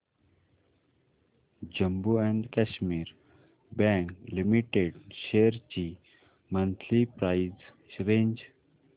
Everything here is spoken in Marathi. Jammu and Kashmir bank limited shares ची मंथली प्राइस रेंज